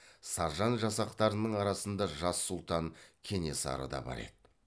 саржан жасақтарының арасында жас сұлтан кенесары да бар еді